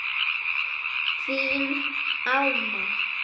Þín Alma.